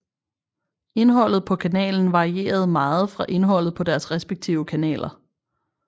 Indholdet på kanalen varieret meget fra indholdet på deres respektive kanaler